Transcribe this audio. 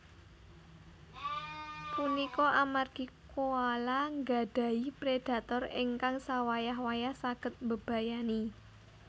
Punika amargi koala nggadhahi predhator ingkang sawayah wayah saged mbebayani